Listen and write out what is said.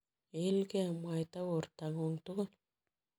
Iilgei mwaita bortang'ung' tugul.